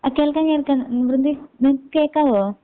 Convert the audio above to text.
ആ കേൾക്കാം കേൾക്കാം ന വൃന്ദേ ന കേൾക്കാവോ?